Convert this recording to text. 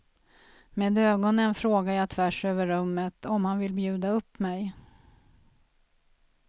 Med ögonen frågar jag tvärs över rummet om han vill bjuda up mig.